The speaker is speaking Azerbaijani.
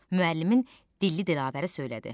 Müəllimin Dilli Dilavəri söylədi.